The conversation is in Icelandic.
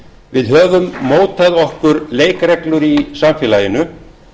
við höfum mótað okkur leikreglur í samfélaginu